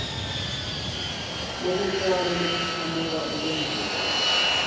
lokuncane lokuchamuka enkondlweni